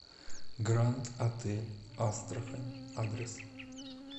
гранд отель астрахань адрес